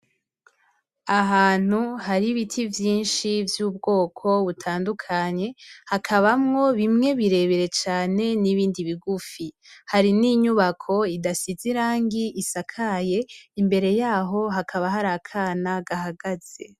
Ahantu har'ibiti vyinshi vy'ubwoko butandukanye, hakabamwo bimwe birebire cane n'ibindi bigufi, hari n'inyubako idasize irangi isakaye imbere yaho hakaba har'akana gahagaze.